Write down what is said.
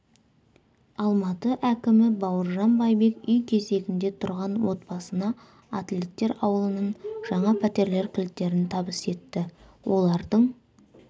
алматы әкімі бауыржан байбек үй кезегінде тұрған отбасына атлеттер аулынан жаңа пәтерлер кілттерін табыс етті олардың